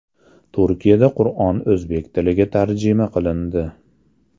Turkiyada Qur’on o‘zbek tiliga tarjima qilindi.